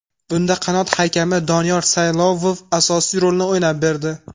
Bunda qanot hakami Doniyor Saylovov asosiy rolni o‘ynab berdi.